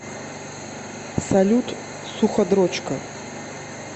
салют суходрочка